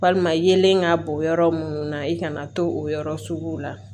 Walima yelen ka bɔn yɔrɔ munnu na i kana to o yɔrɔ sugu la